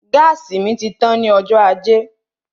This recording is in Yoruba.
Gáàsì mi tán ní ọjọ́ ajé